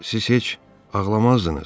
Siz heç ağlamazdınız.